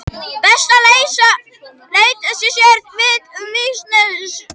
Best er að lesa sér til um vísnagerð í góðri bragfræði.